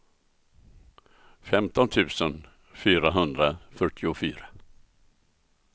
femton tusen fyrahundrafyrtiofyra